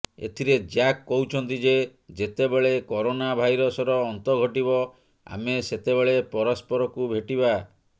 ଏଥିରେ ଜ୍ୟାକ କହୁଛନ୍ତି ଯେ ଯେତେବେଳେ କରୋନା ଭାଇରସର ଅନ୍ତ ଘଟିବ ଆମେ ସେତେବେଳେ ପରସ୍ପରକୁ ଭେଟିବା